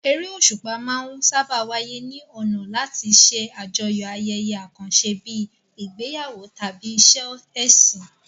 Eré òṣùpá máa ń sáábà wáyé ní ọ̀nà láti ṣe àjọyọ̀ ayẹyẹ àkànṣe bíi ìgbéyàwó tàbí ìṣe ẹ̀sìn.